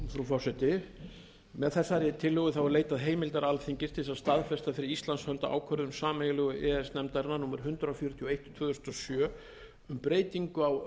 frú forseti með þessari tillögu er leitað heimildar alþingis til þess að staðfesta fyrir íslands hönd ákvörðun sameiginlegu e e s nefndarinnar númer hundrað fjörutíu og eitt tvö þúsund og sjö um breytingu á